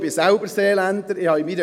Ich bin selber Seeländer.